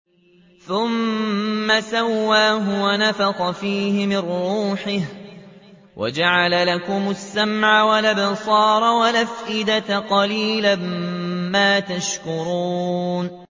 ثُمَّ سَوَّاهُ وَنَفَخَ فِيهِ مِن رُّوحِهِ ۖ وَجَعَلَ لَكُمُ السَّمْعَ وَالْأَبْصَارَ وَالْأَفْئِدَةَ ۚ قَلِيلًا مَّا تَشْكُرُونَ